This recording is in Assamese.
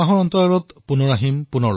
এমাহৰ অপেক্ষাৰ পিছত পুনৰ আহিম